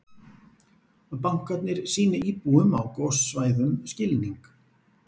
Bankarnir sýni íbúum á gossvæðum skilning